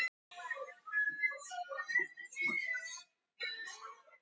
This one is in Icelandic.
Hvað telur Sjöfn vera bestu leiðina til þess að takast á við þessi erfiðu mál?